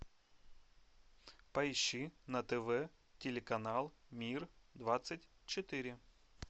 поищи на тв телеканал мир двадцать четыре